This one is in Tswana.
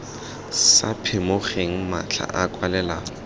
sa phimogeng matlha a kwalelano